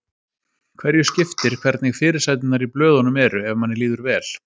Hverju skiptir hvernig fyrirsæturnar í blöðunum eru, ef manni líður vel?